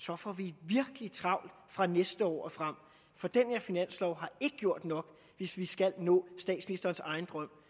får vi virkelig travlt fra næste år og frem for den her finanslov har ikke gjort nok hvis vi skal nå statsministerens egen drøm